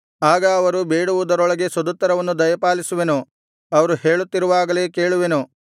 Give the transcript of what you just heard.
ಆಗ ಅವರು ಬೇಡುವುದರೊಳಗೆ ಸದುತ್ತರವನ್ನು ದಯಪಾಲಿಸುವೆನು ಅವರು ಹೇಳುತ್ತಿರುವಾಗಲೇ ಕೇಳುವೆನು